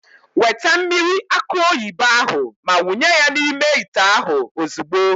Weta mmiri akụ oyibo ahụ ma wụnye ya n'ime ite ahụ ozugbo.